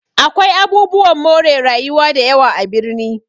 Akwai abubuwan more rayuwa dayawa a birni